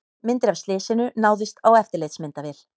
Myndir af slysinu náðust á eftirlitsmyndavél